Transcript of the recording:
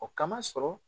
O kama sɔrɔ